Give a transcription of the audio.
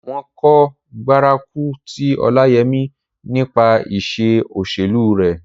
Wọn kò gbárùkù ti Ọláyẹmí nípa iṣẹ́ òṣèlú rẹ̀